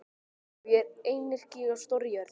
Já, ég er einyrki á stórri jörð.